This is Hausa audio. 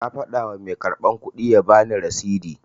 Na fada wa mai karban kudi ya bani rasidi